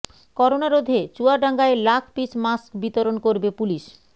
corona রোধে চুয়াডাঙ্গায় lakh piece mask বিতরণ করবে পুলিশ